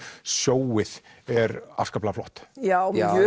sjóið er afskaplega flott já já